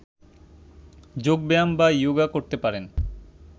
যোগ ব্যায়াম বা ইয়োগা করতে পারেন